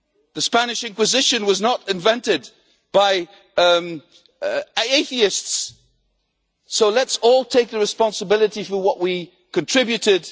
The Spanish Inquisition was not invented by atheists, so let us all take responsibility for what we contributed.